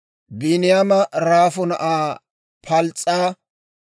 Biiniyaama Raafu na'aa Pals's'a;